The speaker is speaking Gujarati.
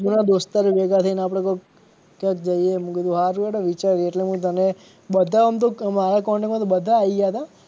જૂના દોસ્તરો ભેગા થઈ ને આપડે કોક ક્યાંક જઈએ મેં કીધું સારું હેડો વિચારીએ એટલે હું તને બધા આમ તો મારા contact માં તો બધા આયી ગયા હતા.